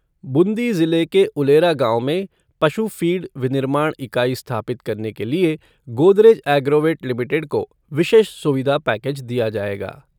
बूंदी जिले के उलेरा गाँव में पशु फ़ीड विनिर्माण इकाई स्थापित करने के लिए गोदरेज एग्रोवेट लिमिटेड को विशेष सुविधा पैकेज दिया जाएगा।